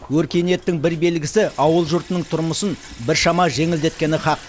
өркениеттің бір белгісі ауыл жұртының тұрмысын біршама жеңілдеткені хақ